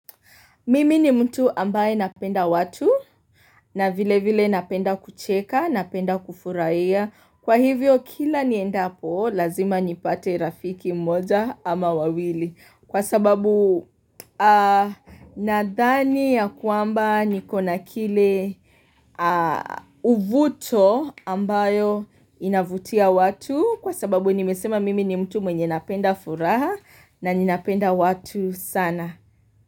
Mimi ni mtu ambaye napenda watu na vile vile napenda kucheka, napenda kufurahia. Kwa hivyo kila niendapo, lazima nipate rafiki mmoja ama wawili. Kwa sababu nadhani ya kwamba nikona kile uvuto ambayo inavutia watu. Kwa sababu nimesema mimi ni mtu mwenye napenda furaha na ninapenda watu sana.